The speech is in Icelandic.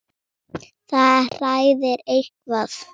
Línan lítur þá svona út